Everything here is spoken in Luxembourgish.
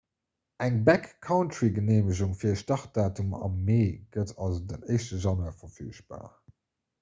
eng backcountry-geneemegung fir e startdatum am mee gëtt also den 1 januar verfügbar